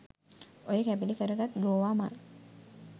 ඔය කැබලි කරගත් ගෝවා මල්